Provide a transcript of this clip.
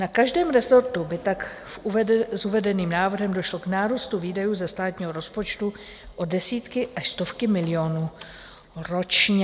Na každém rezortu by tak s uvedeným návrhem došlo k nárůstu výdajů ze státního rozpočtu o desítky až stovky milionů ročně.